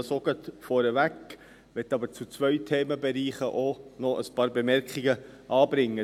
Ich nehme dies auch gleich vorweg, möchte aber zu zwei Themenbereichen auch noch ein paar Bemerkungen anbringen.